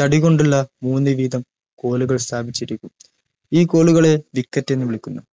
തടികൊണ്ടുള്ള മൂന്ന്‌ വീതം കോളുകൾ സ്ഥാപിക്കും ഈ കോളുകൾ wicket എന്ന് വിളിക്കുന്നു